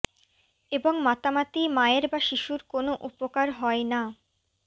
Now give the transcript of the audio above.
এবং মাতামাতি মায়ের বা শিশুর কোন উপকার হয় না